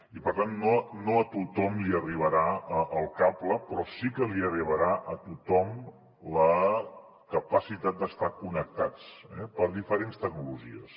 i per tant no a tothom li arribarà el cable però sí que li arribarà a tothom la capacitat d’estar connectats per diferents tecnologies